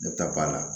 Ne bɛ taa ba la